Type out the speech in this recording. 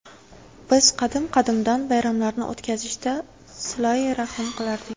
Biz qadim-qadimdan bayramlarni o‘tkazishda silai rahm qilardik.